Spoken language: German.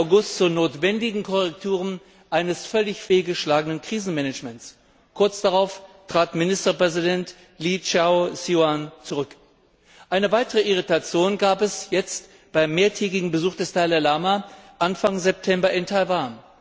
13. August zu notwendigen Korrekturen eines völlig fehlgeschlagenen Krisenmanagements. Kurz darauf trat Ministerpräsident Liu Chao shiuan zurück. Eine weitere Irritation gab es jetzt beim mehrtägigen Besuch des Dalai Lama Anfang September in Taiwan.